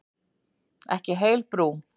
Ekki heil brú.